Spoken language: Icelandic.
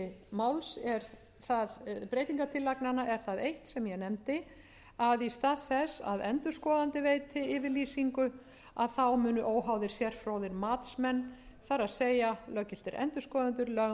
breytingartillagnanna er það eitt sem ég nefndi að í stað þess að endurskoðendur veiti yfirlýsingu þá munu óháðir sérfróðir matsmenn það er löggiltir endurskoðendur lögmenn og aðrir sérfróðir dómkvaddir